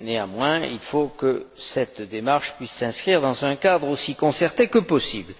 Néanmoins, il faut que cette démarche puisse s'inscrire dans un cadre aussi concerté que possible.